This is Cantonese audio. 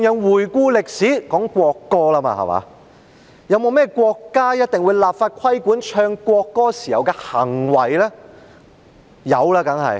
回顧歷史當然要提到國歌，歷史上有沒有國家立法規管奏唱國歌時人民的行為？